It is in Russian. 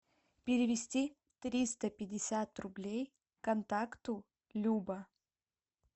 перевести триста пятьдесят рублей контакту люба